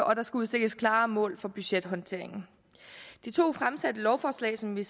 og der skal udstikkes klare mål for budgethåndteringen de to fremsatte lovforslag som vi